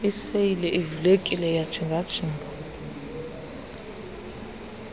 iseyile ivulekile iyajingajinga